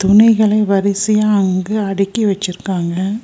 துணிகளை வரிசயா அங்கு அடிக்கி வெச்சிருக்காங்க.